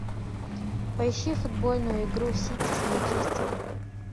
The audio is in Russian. поищи футбольную игру сити с манчестером